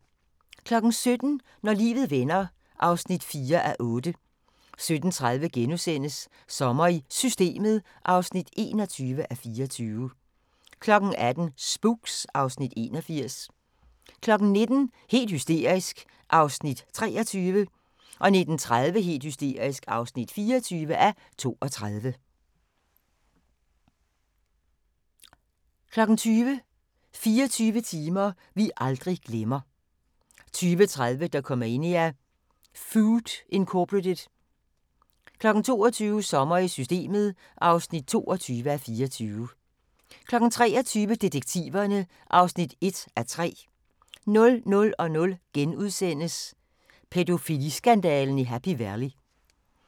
17:00: Når livet vender (4:8) 17:30: Sommer i Systemet (21:24)* 18:00: Spooks (Afs. 81) 19:00: Helt hysterisk (23:32) 19:30: Helt hysterisk (24:32) 20:00: 24 timer vi aldrig glemmer 20:30: Dokumania: Food, Inc. 22:00: Sommer i Systemet (22:24) 23:00: Detektiverne (1:3) 00:00: Pædofiliskandalen i Happy Valley *